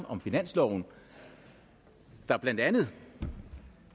om finansloven der blandt andet